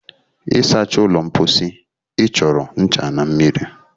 ịsacha ụlọ mposi ị chọrọ ncha na mmiri